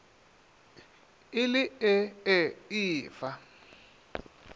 e le ee e fa